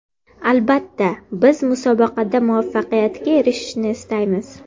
Albatta, biz musobaqada muvaffaqiyatga erishishni istaymiz.